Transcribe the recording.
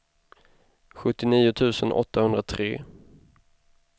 sjuttionio tusen åttahundratre